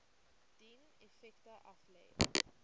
dien effekte aflê